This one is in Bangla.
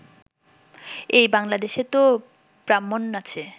এই বাংলাদেশে তো ব্রাহ্মণ আছে